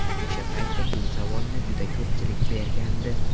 O‘sha payti bu savolni juda ko‘pchilik bergandi.